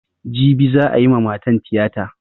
Jibi za'a yi ma matan tiyata.